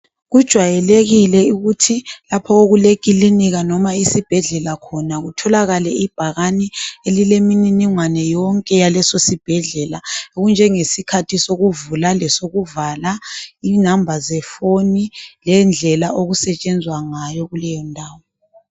Kujwayelekile ukuthi lapho okulekilinika, noma isibhedlela khona, kutholakale ibhakane elilemininingwane yonke, yalesosibhedlela. . Okunjengesikhathi sokuvula lesokuvala. Inamba zefoni. Lendlela okusetshenzwa ngayo kuleyondawo.